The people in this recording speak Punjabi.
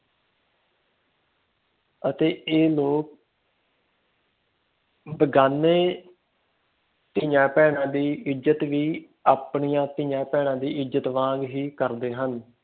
ਅਤੇ ਇਹ ਲੋਕ ਬੇਗਾਨੇ ਧੀਆਂ ਬਹਿਣਾ ਦੀ ਇਜੱਤ ਵੀ ਆਪਣੀਆਂ ਧੀਆਂ ਬਹਿਣਾ ਦੀ ਇੱਜ਼ਤ ਵਾਂਗ ਹੀ ਕਰਦੇ ਹਨ